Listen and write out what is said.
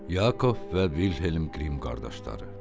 Yakov və Vilhelm Qrim qardaşları.